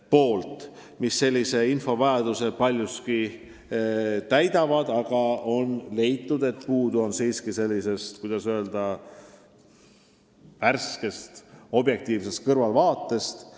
Paljuski on need analüüsid meile vajalikku infot andnud, aga on leitud, et puudu on sellisest, kuidas öelda, värskest objektiivsest kõrvaltvaatest.